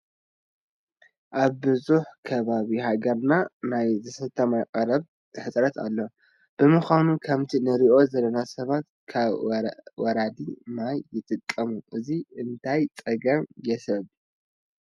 ኣብ ብዙሕ ከባቢ ሃገርና ናይ ዝስተ ማይ ቀረብ ሕፅረት ኣሎ፡፡ ብምኳኑ ከምቲ ንሪኦ ዘለና ሰባት ካብ ወራዲ ማይ ይጥቀሙ፡፡ እዚ እንታይ ፀገም የስዕብ?